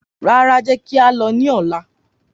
Rárá, jẹ́ kí a lọ ní ọ̀la